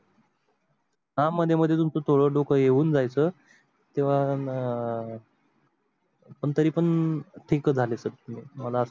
हा मधी मधी तुमच थोड डोक हे हून जायचा तेव्हा अं पण तरी पण ठीक झाले, मला अस